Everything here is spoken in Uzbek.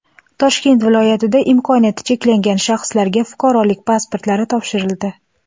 Toshkent viloyatida imkoniyati cheklangan shaxslarga fuqarolik pasportlari topshirildi.